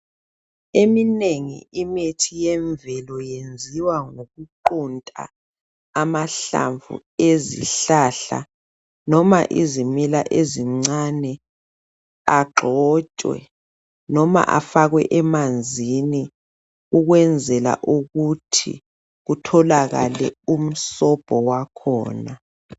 Eminengi imithi emvelo iyenziwa ngokuqunta amahlamvu ezihlahla noma izimila ezincane agxotshwe noma afakwe emanzini ukwenzela ukuthi kutholakale umsobho wakhona